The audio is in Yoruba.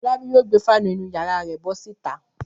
Fọlábí yóò gbé fáánù inú ìyàrá rẹ̀ bọ́ síta.